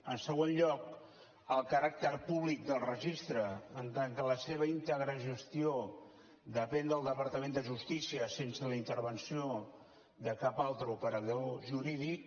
en segon lloc el caràcter públic del registre en tant que la seva íntegra gestió depèn del departament de justícia sense la intervenció de cap altre operador jurídic